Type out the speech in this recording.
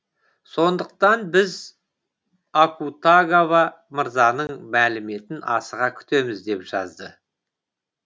сондықтан біз акутагава мырзаның мәліметін асыға күтеміз деп жазды